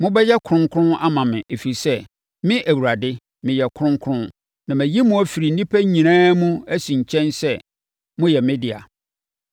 Mobɛyɛ kronkron ama me ɛfiri sɛ, me Awurade, meyɛ kronkron na mayi mo afiri nnipa nyinaa mu asi nkyɛn sɛ moyɛ me dea.